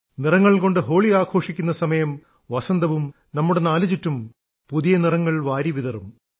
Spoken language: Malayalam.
നിറങ്ങൾ കൊണ്ടു ഹോളി ആഘോഷിക്കുന്ന സമയം വസന്തവും നമ്മുടെ നാലുചുറ്റും പുതിയ നിറങ്ങൾ വാരി വിതറും